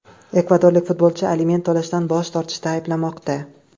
Ekvadorlik futbolchi aliment to‘lashdan bosh tortishda ayblanmoqda.